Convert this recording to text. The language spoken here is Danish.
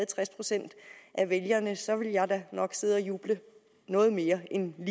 tres procent af vælgerne så ville jeg da nok sidde og juble noget mere end jeg